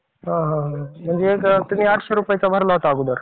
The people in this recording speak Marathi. हा हा. म्हणजे तुम्ही आठशे रुपयेचा भरला होता अगोदर